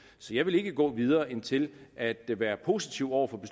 så jeg vil ikke gå videre end til at være positiv over for